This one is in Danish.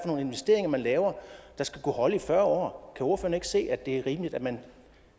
nogle investeringer man laver der skal kunne holde i fyrre år kan ordføreren ikke se at det er rimeligt at man